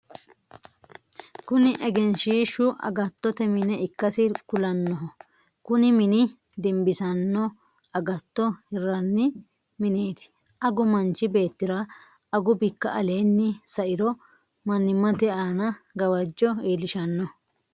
Kunni egenshiishu agattote mine ikasi kulanoho. Kunni minni dimbisano agatto hiranni mineeti. Agu manchi beetira agu biku aleenni sa'iro mannimmate aanna gawajo iilishano.